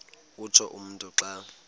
utsho umntu xa